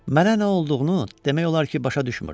Mənə nə olduğunu demək olar ki, başa düşmürdüm.